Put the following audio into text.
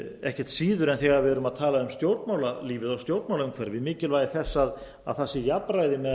ekkert síður en þegar við erum að tala um stjórnmálalífið og stjórnmálaumhverfið mikilvægi þess að það sé jafnræði